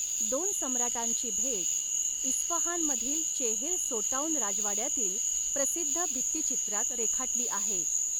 दोन सम्राटांची भेट इस्फहानमधील चेहेल सोटौन राजवाड्यातील प्रसिद्ध भित्तिचित्रात रेखाटली आहे.